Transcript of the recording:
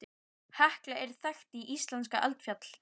Hekla er þekkt íslenskt eldfjall.